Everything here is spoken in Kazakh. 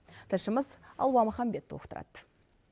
тілшіміз алуа маханбет толықтырады